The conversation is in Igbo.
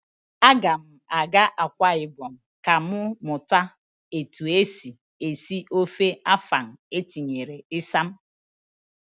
A ga m aga Akwa ibom ka m mụta etu esi esi ofe afan etinyere isam